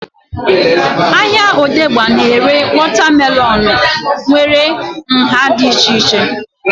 Ahịa odegba na-ere wọta melọnu nwere nhá dị iche iche